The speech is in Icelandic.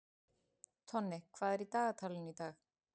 Tonni, hvað er í dagatalinu í dag?